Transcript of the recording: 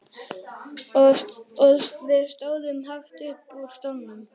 Við stóðum hægt upp úr stólunum.